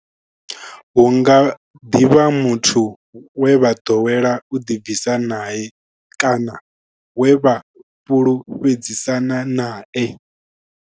Hu nga ḓi vha muthu we vha ḓowela u ḓibvisa nae kana we vha fhulufhedzisana nae.